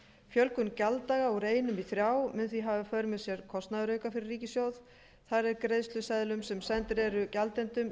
fjölgun gjalddaga úr einum í þrjá mun því hafa í för með sér kostnaðarauka fyrir ríkissjóð þar eð greiðsluseðlum sem sendir eru gjaldendum